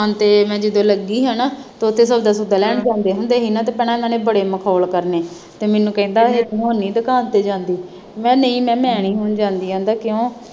ਦੁਕਾਨ ਤੇ ਜਦੋਂ ਮੈਂ ਲੱਗੀ ਹਨਾ ਤੁਹਾਡੇ ਤੋਂ ਪਹਿਲਾਂ ਨਹੀਂ ਜਾਂਦੇ ਹੁੰਦੇ ਸੀ ਨਾ ਅਤੇ ਭੈਣਾ ਇਹਨਾ ਨੇ ਬੜੇ ਮਖੌਲ ਕਰਨੇ ਤੇ ਮੈਨੂੰ ਕਹਿੰਦਾ ਜੇ ਤੂੰ ਹੈ ਨਹੀਂ ਤਾਂ ਘਰ ਤੇ ਜਾਂਦੀ ਮੈ ਕਿਹਾ ਨਹੀਂ ਮੈਂ ਮੈਂ ਨਹੀਂ ਹੁਣ ਜਾਂਦੀ ਕਹਿੰਦਾ ਕਿਉਂ